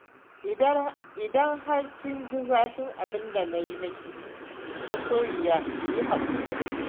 Idan har kin ji zafin abinda na yi miki masoyiya ki yi haƙuri.